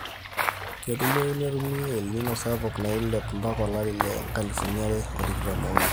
ketumoyu netumi el nino sapuk nailep mpaka olari lo nkalifuni are o tikitan oonguan